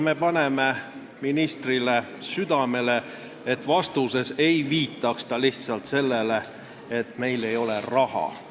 Me paneme ministrile südamele, et ta vastuses ei viitaks lihtsalt sellele, et meil ei ole raha.